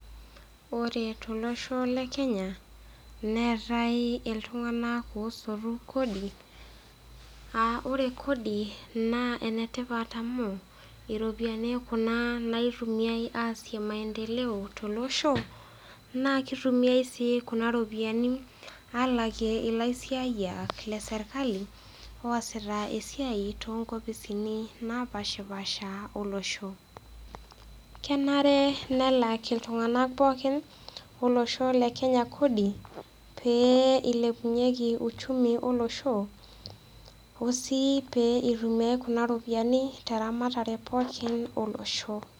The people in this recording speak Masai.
Ore tolosho le Kenya, neatai iltung'ana osotu kodi a ore kodi naa enetipat amu iropiani kuna naitumiai aasie maendeleo tolosho naa keitumiai sii kuna ropiani alakie ilaisiayiak leserkali oasita esiai too nkofisini napaashipaasha olosho. Kenare nelak iltung'ana pooki lolosho le Kenya kodi pee eilepunyieki uchumi olosho osii pee eitumiai kuna ropiani teramatare pookin olosho.